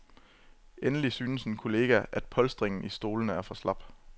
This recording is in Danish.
Endelig synes en kollega, at polstringen i stolene er for slap.